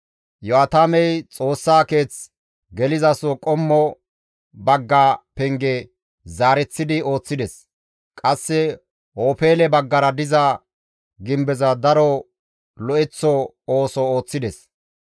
Iyo7aatamey Xoossaa keeth gelizaso qommo bagga penge zaareththidi ooththides; qasse Ofeele baggara diza gimbeza daro lo7eththo ooso ooththides.